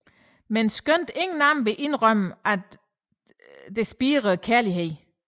Men skønt ingen af dem vil indrømme det spirer kærligheden